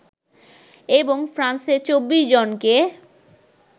এবং ফ্রান্সে ২৪ জনকে